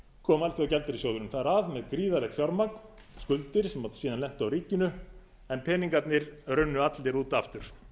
kom alþjóðagjaldeyrissjóðurinn þar að með gríðarlegt fjármagn skuldir sem síðan lentu á ríkinu en peningarnir runnu allir út aftur